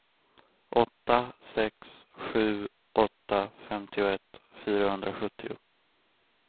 åtta sex sju åtta femtioett fyrahundrasjuttio